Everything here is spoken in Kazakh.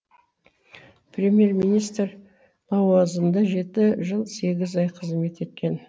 премьер министр лауазымында жеті жыл сегіз ай қызмет еткен